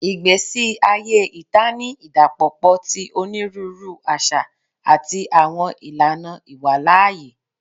Igbesi aye ita ni idapọpọ ti oniruuru aṣa ati awọn ilana iwalaaye